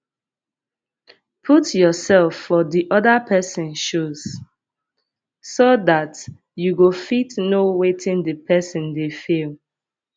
put yourseld for di oda person shoes so dat you go fit know wetin di person dey feel